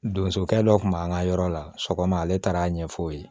Donsokɛ dɔ tun b'an ka yɔrɔ la sɔgɔma ale taara a ɲɛfɔ o ye